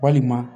Walima